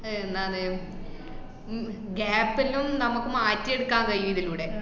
അഹ് എന്നാണ് ഉം അഹ് gap ല്ലോം നമുക്ക് മാറ്റി എടുക്കാൻ കായും ഇതിലൂടെ